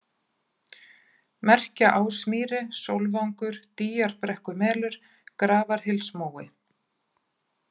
Merkjaásmýri, Sólvangur, Dýjarbrekkumelur, Grafarhylsmói